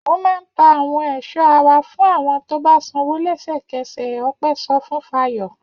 Mo máa ń ta àwọn èso ara fún àwọn tó bá sanwó lẹ́sẹ̀kẹsẹ̀! Ọpẹ́ sọ fún Fayọ̀.